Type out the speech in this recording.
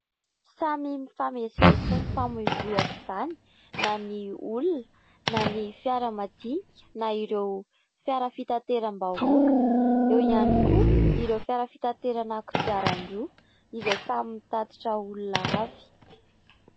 Samy mifamezivezy sy mifavoivoy aoka izany na ny olona na ny fiara madinika na ireo fiara fitanteram-bahoaka. Eo ihany koa ireo fiara fitanterana kodiaran-droa izay samy mitatitra olona avy.